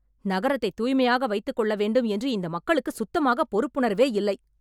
நகரத்தை தூய்மையாக வைத்துக் கொள்ள வேண்டும் என்று இந்த மக்களுக்கு சுத்தமாக பொறுப்புணர்வே இல்லை